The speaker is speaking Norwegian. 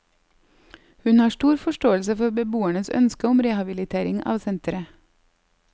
Hun har stor forståelse for beboernes ønske om rehabilitering av senteret.